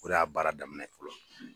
O re y'a baara daminɛ ye fɔlɔ.